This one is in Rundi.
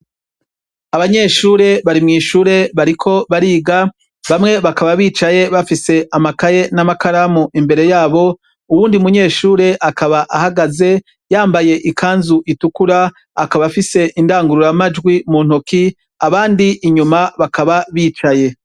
Abanyeshure bari mw' ishure bariko bariga, bamwe bakaba bicaye bafise amakaye n' amakaramu imbere yabo, uwundi munyeshure akaba ahagaze yambaye ikanzu itukura, akaba afise indangurura majwi mu ntoki, abandi inyuma, bakaba bicaye.